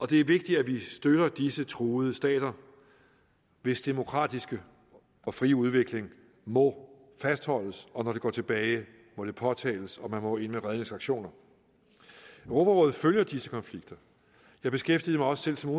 det er vigtigt at vi støtter disse truede stater hvis demokratiske og frie udvikling må fastholdes og når det går tilbage må det påtales og man må ind med redningsaktioner europarådet følger disse konflikter jeg beskæftigede mig også selv som